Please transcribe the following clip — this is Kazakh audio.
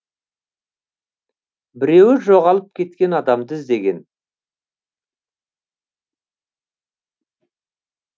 біреуі жоғалып кеткен адамды іздеген